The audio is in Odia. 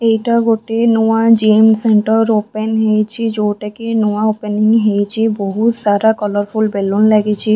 ଏଇଟା ଗୋଟେ ନୂଆ ଜିମ୍ ସେଣ୍ଟର୍ ଓପେନ ହେଇଛି ଯୋଉଟାକି ନୂଆ ଓପେନ ହିଁ ହେଇଛି ବହୁତ୍ ସାରା କଲରଫୁଲ୍ ବେଲୁନ୍ ଲାଗିଛି।